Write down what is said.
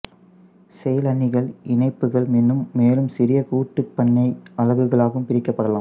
செயலணிகள் இணைப்புகள் எனும் மேலும் சிறிய கூட்டுப்பண்ணை அலகுகளாகவும் பிரிக்கப்படலாம்